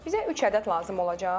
Bizə üç ədəd lazım olacaq.